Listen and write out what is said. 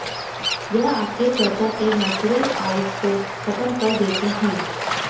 यह आपके त्वचा के नेचुरल ऑयल्स को खत्म कर देते हैं